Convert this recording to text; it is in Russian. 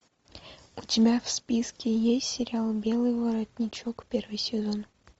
у тебя в списке есть сериал белый воротничок первый сезон